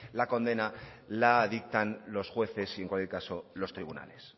la condena la dictan los jueces y en cualquier caso los tribunales